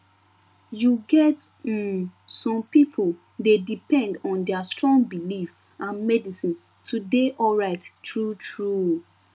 you get um some people dey depend on their strong belief and medicine to dey alright truetrue